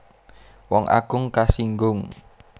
Wong agung kasinggung